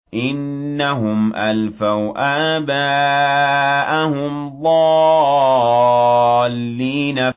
إِنَّهُمْ أَلْفَوْا آبَاءَهُمْ ضَالِّينَ